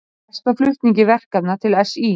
Fresta flutningi verkefna til SÍ